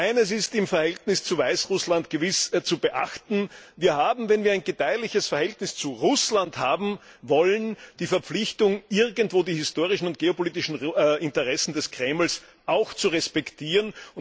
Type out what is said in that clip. Eines ist im Verhältnis zu Weißrussland gewiss zu beachten Wir haben, wenn wir ein gedeihliches Verhältnis zu Russland haben wollen, die Verpflichtung, irgendwo auch die historischen und geopolitischen Interessen des Kremls zu respektieren.